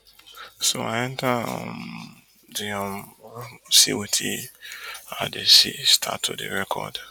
so i enta um di um room see wetin i dey see start to dey record